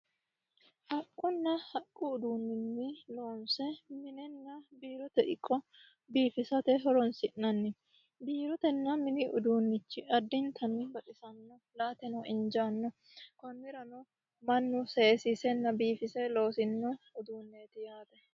Haqquna haqqu uduunini loonisse minninna biirote iqa biifisate horonisi'nanni boorotenna mini uduunnichi addinittanni baxisanno la"ateno injaano konnirano mannu sesiisenna biifise loosinno uduuneeti yaate